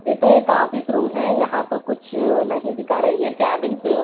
ये तो एक ऑफिस रूम है यहां तो कुछ नहीं दिखा रही है केबिनस --